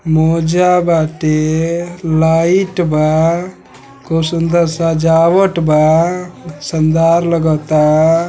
मोजा बाटे लाइट बा खूब सुंदर सजावट बा शानदार लगाता।